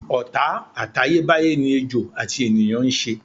Ò̩tá àtayébáyé ni ejò àti ènìyàn ń s̩e.